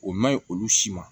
O ma ɲi olu si ma